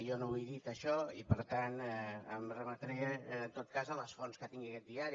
jo no ho he dit això i per tant em remetré en tot cas a les fonts que tingui aquest diari